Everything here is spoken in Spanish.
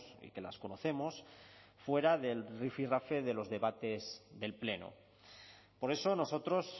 y que las conocemos fuera del rifirrafe de los debates del pleno por eso nosotros